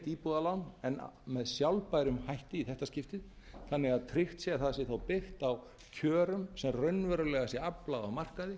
íbúðalán en með sjálfbærum hætti í þetta skiptið þannig að tryggt sé að það sé þá byggt á kjörum sem raunverulega sé aflað á markaði